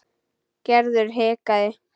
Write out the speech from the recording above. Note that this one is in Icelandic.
Gerður hikaði.